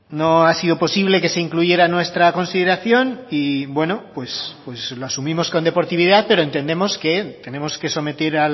no ha sido posible que se incluyera nuestra consideración y bueno pues lo asumimos con deportividad pero entendemos que tenemos que someter